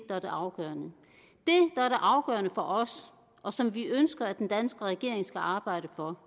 er det afgørende for os og som vi ønsker den danske regering skal arbejde for